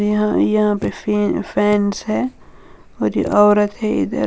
यहाँ यहां पे फेन फैंस हैं और ये औरत है इधर।